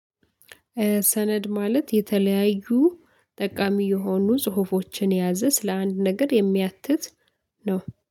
ሰነድ ማለት የተለያዩ ጠቃሚ የሆኑ ጽሁፎችን የያዘ ስለአንድ ነገር የሚያትት ነው።